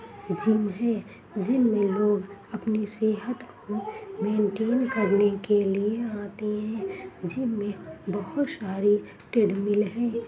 Gym है। Gym में लोग अपनी सेहत को मेंटेन करने के लिए आते है। जिम मे बहुत सारी ट्रेडमिल है।